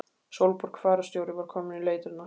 Sólborg fararstjóri var komin í leitirnar.